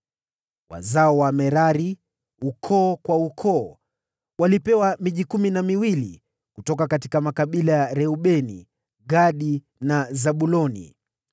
Wazao wa Merari, ukoo kwa ukoo, walipewa miji kumi na miwili kutoka makabila ya Reubeni, Gadi na Zabuloni.